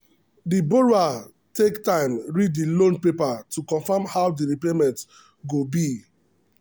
the borrower take time read the loan paper to confirm how the repayment go be.